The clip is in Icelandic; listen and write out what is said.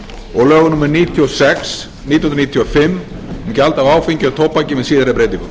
og lögum númer níutíu og sex nítján hundruð níutíu og fimm um gjald af áfengi og tóbaki með síðari